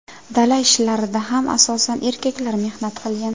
Dala ishlarida ham asosan erkaklar mehnat qilgan.